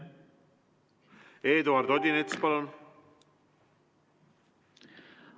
Eduard Odinets, palun!